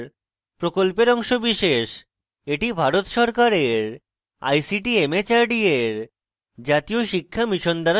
এটি ভারত সরকারের ict mhrd এর জাতীয় শিক্ষা mission দ্বারা সমর্থিত